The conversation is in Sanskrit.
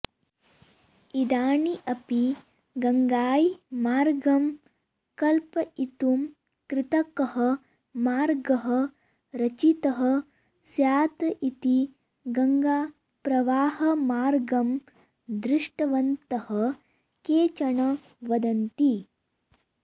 इदानीमपि गङ्गायै मार्गं कल्पयितुं कृतकः मार्गः रचितः स्यात् इति गङ्गाप्रवाहमार्गं दृष्टवन्तः केचन वदन्ति